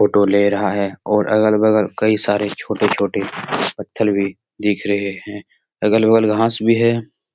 Photo ले रहा है और अगल-बगल कई सारे छोटे-छोटे पत्थर भी दिख रहे हैं अगल-बगल घास भी हैं ।